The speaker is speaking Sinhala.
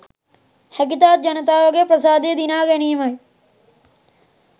හැකිතාක් ජනතාවගේ ප්‍රසාදය දිනා ගැනීමයි